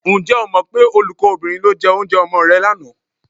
Ǹjẹ́ o mọ pé olùkọ́bìnrin ló jẹ oúnjẹ ọmọ rẹ lánàá?